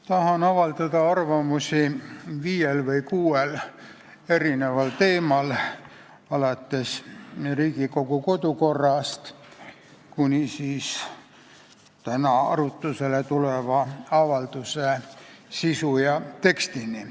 Tahan avaldada arvamust viiel või kuuel teemal, alates Riigikogu kodukorrast kuni täna arutlusele tuleva avalduse sisu ja tekstini.